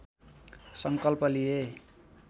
संकल्प लिए